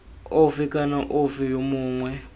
ofe kana ofe yo mongwe